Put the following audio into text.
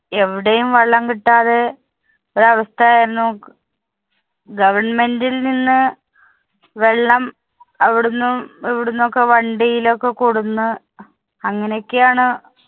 എവിടെയും വെള്ളം കിട്ടാതെ ഒരവസ്ഥ ആയിരുന്നു. Government ല്‍ നിന്ന് വെള്ളം അവിടുന്നും ഇവിടുന്നും ഒക്കെ വണ്ടിയിലൊക്കെ കൊടുന്ന് അങ്ങനെയൊക്കെയാണ്